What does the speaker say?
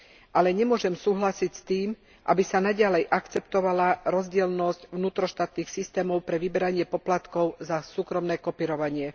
Ale nemôžem súhlasiť s tým, aby sa naďalej akceptovala rozdielnosť vnútroštátnych systémov pre vyberanie poplatkov za súkromné kopírovanie.